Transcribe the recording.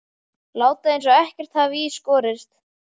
Láta eins og ekkert hafi í skorist.